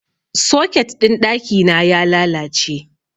Soket ɗin ɗaki na ya lalace.